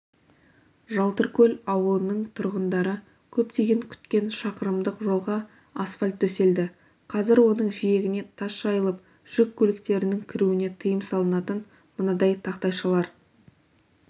жалтыркөл ауылының тұрғындары көптен күткен шақырымдық жолға асфальт төселді қазір оның жиегіне тас жайылып жүк көліктерінің кіруіне тыйым салатын мынадай тақтайшалар